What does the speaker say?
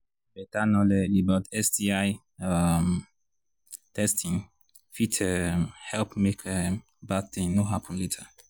better knowledge about sti um testing fit um help make um bad thing no happen later